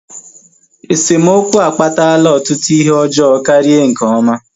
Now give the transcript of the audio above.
Esemokwu akpatala ọtụtụ ihe ọjọọ karịa nke ọma